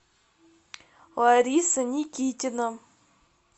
лариса никитина